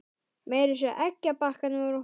Meira að segja eggjabakkarnir voru horfnir.